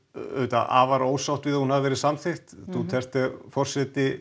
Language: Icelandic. afar ósátt við að hún hafi verið samþykkt Duterte forseti